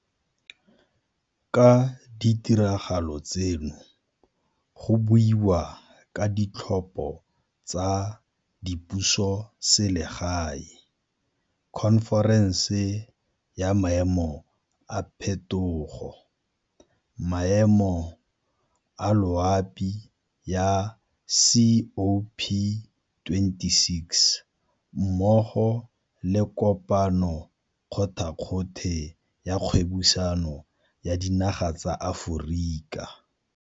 Ka ditiragalo tseno go buiwa ka Ditlhopho tsa Dipusoselegae, khonferense ya Maemo a Phetogo ya Maemo a Loapi ya COP26 mmogo le Kopano kgothakgothe ya Kgwebisano ya Dinaga tsa Aforika.